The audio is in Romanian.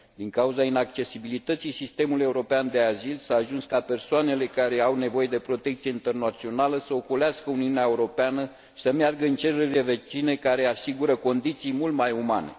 Din cauza inaccesibilității sistemului european de azil, s a ajuns ca persoanele care au nevoie de protecție internațională să ocolească Uniunea Europeană și să meargă în țările vecine, care asigură condiții mult mai umane.